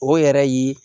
O yɛrɛ ye